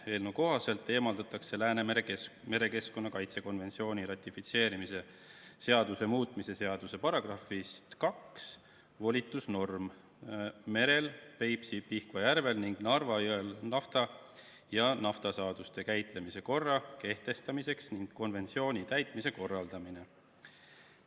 Eelnõu kohaselt eemaldatakse Läänemere merekeskkonna kaitse konventsiooni ratifitseerimise seaduse muutmise seaduse §‑st 2 volitusnorm "Merel, Peipsi-Pihkva järvel ning Narva jõel nafta ja naftasaaduste käitlemise korra" kehtestamiseks ning konventsiooni täitmise korraldamine.